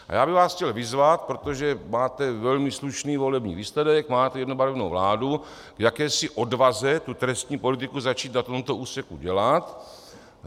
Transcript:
A já bych vás chtěl vyzvat, protože máte velmi slušný volební výsledek, máte jednobarevnou vládu, k jakési odvaze tu trestní politiku začít na tomto úseku dělat.